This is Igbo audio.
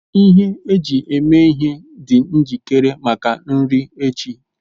Ihe eji eme ihe dị njikere maka nri echi